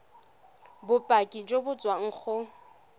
bopaki jo bo tswang go